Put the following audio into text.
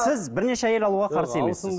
сіз бірнеше әйел алуға қарсы емессіз